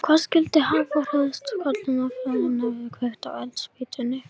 Hvað skyldi hafa hrærst í kollinum á honum þegar hann kveikti á eldspýtunni?